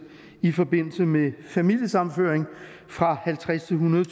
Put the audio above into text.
i forbindelse med familiesammenføring fra halvtredstusind